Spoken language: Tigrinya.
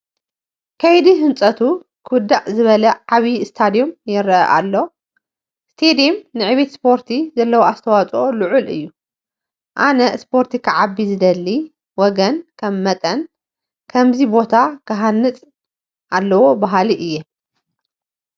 ከይዲ ህንፀቱ ክውዳእ ዝበለ ዓብዪ ስቴድየም ይርአ ኣሎ፡፡ ስቴድየም ንዕብየት ስፖርቲ ዘለዋ ኣስተዋፅኦ ልዑል እዩ፡፡ ኣነ ስፖርት ክዓቢ ዝደሊ ወገን ከም መጠኒ ከምዚ ቦታ ክሃንፅ ኣለዎ በሃሊ እየ፡፡